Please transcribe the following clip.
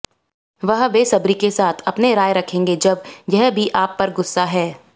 वह बेसब्री के साथ अपने राय रखेंगे जब यह भी आप पर गुस्सा है